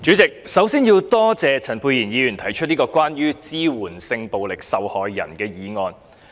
主席，首先很感謝陳沛然議員提出有關支援性暴力受害人的議案。